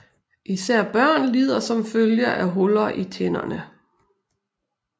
Især børn lider som følge af huller i tænderne